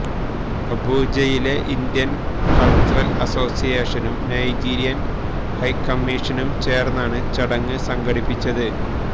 അബൂജയിലെ Indian cultural അസോസിയേഷനും Nigerian ഹൈക്കമ്മിഷനും ചേര്ന്നാണ് ചടങ്ങ് സംഘടിപ്പിച്ചത്